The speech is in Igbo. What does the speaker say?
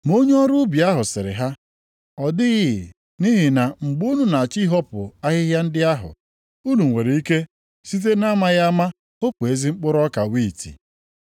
“Ma onye ọrụ ubi ahụ sịrị ha, ‘Ọ dịghị, nʼihi na mgbe unu na-achọ ihopu ahịhịa ndị ahụ, unu nwere ike site na-amaghị ama hopu ezi mkpụrụ ọka wiiti.